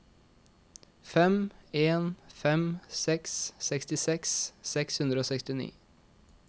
fem en fem seks sekstiseks seks hundre og sekstini